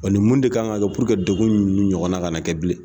nin mun de kan ka kɛ puruke degun ninnu ɲɔgɔnna ka na kɛ bilen